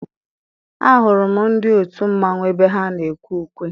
A hụrụ m ndị otu mmanwụ ebe ha na-ekwe ukwe.